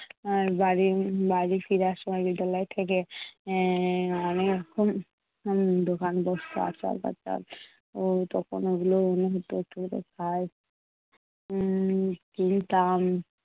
উম বাড়ি বাড়ি ফেরার সময় বিদ্যালয় থেকে এর অনেক রকম দোকান বসত। আচার টাচার তখন ওগুলো মনে হতো একটু করে খাই, উম কিনতাম।